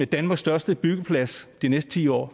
danmarks største byggeplads de næste ti år